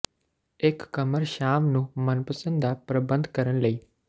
ਇੱਕ ਕਮਰ ਸ਼ਾਮ ਨੂੰ ਮਨਪਸੰਦ ਦਾ ਪ੍ਰਬੰਧ ਕਰਨ ਲਈ